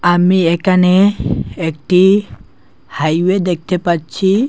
আমি একানে একটি হাইওয়ে দেখতে পাচ্ছি।